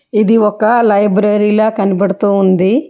ఇది ఒక లైబ్రరీలో కనబడుతూ ఉంది.